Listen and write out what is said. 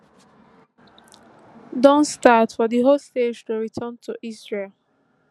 don start for di hostages to return to israel